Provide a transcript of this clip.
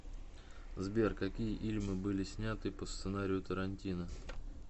сбер какие ильмы были сняты по сценарию тарантино